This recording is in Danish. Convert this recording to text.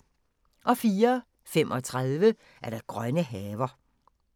04:35: Grønne haver